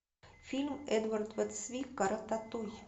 фильм эдварда цвика рататуй